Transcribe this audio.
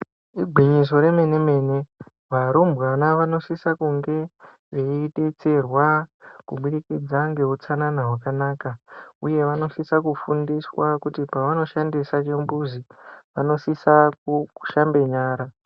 Igwinyiso remene mene varumbwana vanosisa kunge veidetserwa kubudikidza ngeutsanana hwakanaka. Uye vanosisa kufundiswa kuzi pavanoshandisa chimbuzi vanosisa kushamba nyara.